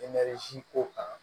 ko kan